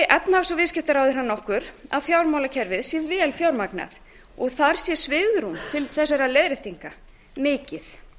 efnahags og viðskiptaráðherrann okkur að fjármálakerfið sé vel fjármagnað og þar sé svigrúm til þessara leiðréttinga mikið